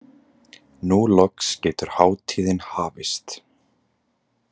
Nú loks getur hátíðin hafist.